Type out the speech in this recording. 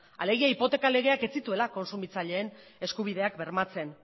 alegia hipoteka legeak ez zituela kontsumitzaileen eskubideak bermatzen